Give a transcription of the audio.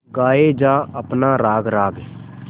गाये जा अपना राग राग